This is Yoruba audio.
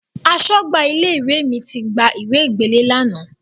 Aṣọ́gbà ilé-ìwé mi ti gba ìwe gbélé ẹ lánàá.